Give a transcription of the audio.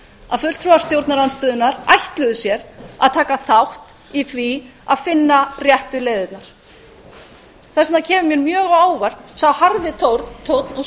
að fulltrúar stjórnarandstöðunnar ætluðu sér að taka þátt í því að finna réttu leiðirnar þess vegna kemur mér mjög á óvart sá garði tónn og